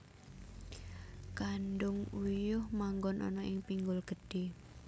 Kandhung uyuh manggon ana ing pinggul gedhe